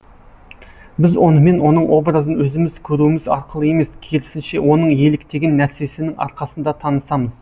біз онымен оның образын өзіміз көруіміз арқылы емес керісінше оның еліктеген нәрсесінің арқасында танысамыз